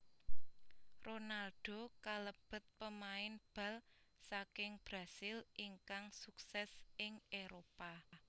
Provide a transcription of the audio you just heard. Ronaldo kalebet pemain bal saking Brasil ingkang sukses ing Éropah